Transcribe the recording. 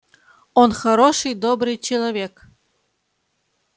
он хороший добрый человек